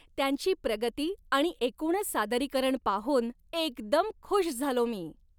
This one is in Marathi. त्यांची प्रगती आणि एकूणच सादरीकरण पाहून एकदम खुश झालो मी.